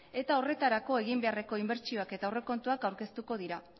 eta horretarako egin beharreko inbertsioak eta aurrekontuak aurkeztuko dira